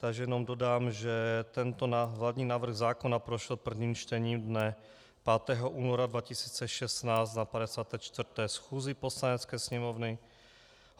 Takže jenom dodám, že tento hlavní návrh zákona prošel prvním čtením dne 5. února 2016 na 54. schůzi Poslanecké sněmovny.